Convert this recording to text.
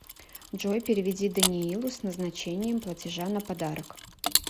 джой переведи даниилу с назначением платежа на подарок